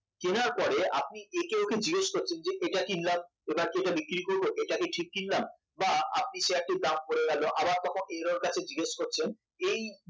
কেনার পরে আপনি একে ওকে জিজ্ঞাসা করছেন এটা কিনলাম এটা কি বিক্রি করব এটা কি ঠিক কিনলাম বা আপনি শেয়ারটির দাম পড়ে গেল আবার তখন আপনি এর ওর কাছে জিজ্ঞেস করছেন এই